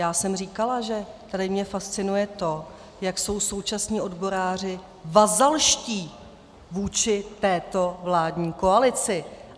Já jsem říkala, že tady mě fascinuje to, jak jsou současní odboráři vazalští vůči této vládní koalici.